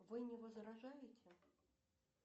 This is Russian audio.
вы не возражаете